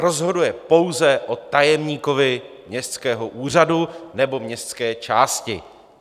Rozhoduje pouze o tajemníkovi městského úřadu nebo městské části.